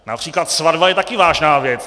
Například svatba je taky vážná věc.